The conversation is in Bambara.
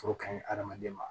Foro ka ɲi hadamaden ma